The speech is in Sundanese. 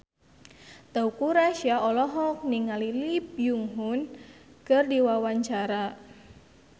Teuku Rassya olohok ningali Lee Byung Hun keur diwawancara